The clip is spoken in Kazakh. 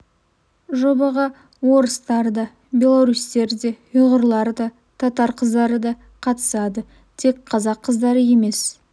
жобаға орыстар да белорустер де ұйғырлар да татар қыздары да қатысады тек қазақ қыздары емес